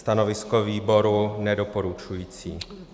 Stanovisko výboru nedoporučující.